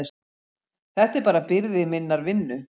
Þetta er bara byrði minnar vinnu.